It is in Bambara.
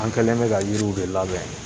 An kɛlen bɛ ka yiriw de labɛn